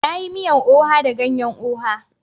Na yi miyan oha da ganyan oha.